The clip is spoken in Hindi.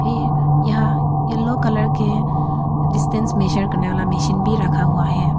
ये यहां येलो कलर के डिस्टेंस मेजर करने वाला मशीन भी रखा हुआ है।